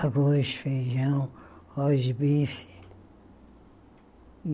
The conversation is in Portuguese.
Arroz, feijão, arroz de bife.